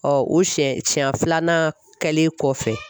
o siɲɛ siɲɛ filanan kɛlen kɔfɛ.